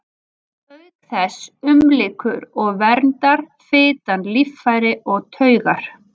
Auk þess umlykur og verndar fitan líffæri og taugar.